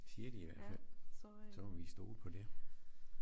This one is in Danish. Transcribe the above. Siger de i hvert fald så må vi stole på det